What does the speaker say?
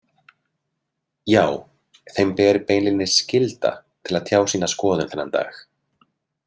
Já, þeim ber beinlínis skylda til að tjá sína skoðun þennan dag.